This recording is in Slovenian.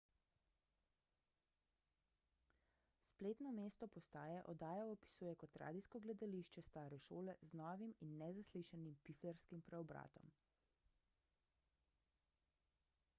spletno mesto postaje oddajo opisuje kot radijsko gledališče stare šole z novim in nezaslišanim piflarskim preobratom